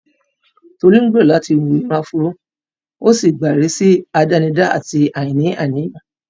Tolú ń gbèrò láti hu irun áfúró, ó sì gba ìrísí àdánidá àti àìní àníyàn.